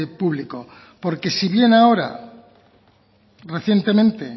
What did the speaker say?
público porque si bien ahora recientemente